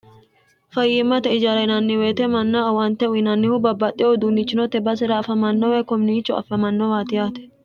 fayyimmate ijara inanniwoyite manna awante uyinannihu babbaxxe uduunnichinote basera afamanno woyi koniicho affamannowaati yaate